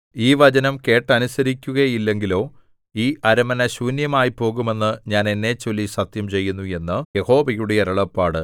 ഈ വചനം കേട്ടനുസരിക്കുകയില്ലെങ്കിലോ ഈ അരമന ശൂന്യമായിപ്പോകുമെന്ന് ഞാൻ എന്നെച്ചൊല്ലി സത്യം ചെയ്യുന്നു എന്ന് യഹോവയുടെ അരുളപ്പാട്